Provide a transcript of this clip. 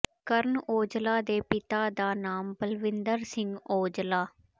ਕਰਨ ਔਜਲਾ ਦੇ ਪਿਤਾ ਦਾ ਨਾਮ ਬਲਵਿੰਦਰ ਸਿੰਘ ਔਜਲਾ